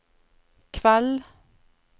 kveld